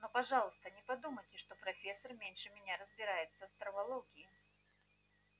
но пожалуйста не подумайте что профессор меньше меня разбирается в травологии